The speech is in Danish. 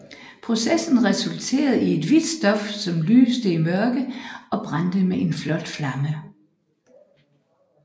Processen resulterede i et hvidt stof som lyste i mørke og brændte med en flot flamme